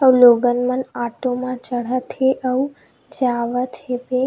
अउ लोगन मन ऑटो मन चढ़त हे अउ जावत हेवे।